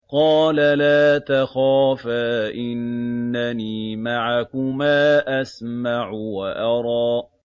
قَالَ لَا تَخَافَا ۖ إِنَّنِي مَعَكُمَا أَسْمَعُ وَأَرَىٰ